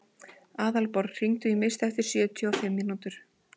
Aðalborg, hringdu í Mist eftir sjötíu og fimm mínútur.